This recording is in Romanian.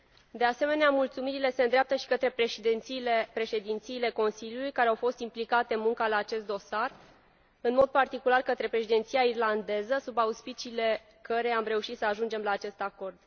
De asemenea, mulțumirile se îndreaptă și către președințiile Consiliului care au fost implicate în munca la acest dosar, în mod particular către Președinția irlandeză, sub auspiciile căreia am reușit să ajungem la acest acord.